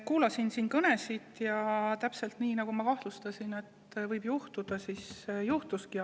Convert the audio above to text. Kuulasin siin kõnesid ja täpselt nii, nagu ma kahtlustasin, et võib juhtuda, juhtuski.